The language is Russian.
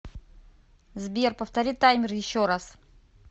сбер повтори таймер еще раз